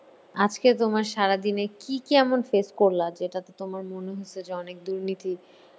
আজকে তোমার সারাদিনে কী কী এমন face করলা যেটাতে তোমার মনে হয়েছে যে অনেক দুর্নীতি